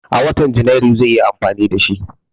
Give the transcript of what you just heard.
A watan Janairu zai yi amfani da shi.